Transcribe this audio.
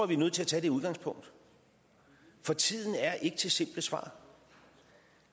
vi er nødt til at tage det udgangspunkt for tiden er ikke til simple svar